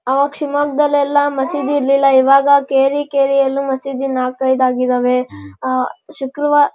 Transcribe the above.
ಅವಾಗ್ ಶಿಮೊಗ್ಗ ದಲ್ಲಿ ಎಲ್ಲ ಮಸೀದಿ ಇರ್ಲಿಲ್ಲ ಈವಾಗ ಕೇರಿ ಕೇರಿ ಯಲ್ಲಿ ಮಸೀದಿ ನಾಲ್ಕೈದು ಆಗಿದ್ದವೇ. ಅಹ್ ಶುಕ್ರವಾ --